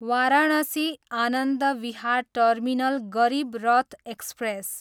Varanasi, Anand Vihar terminal Garib Rath express